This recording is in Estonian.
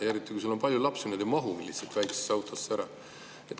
Ja ka siis, kui sul on palju lapsi, need ei mahu lihtsalt väiksesse autosse ära.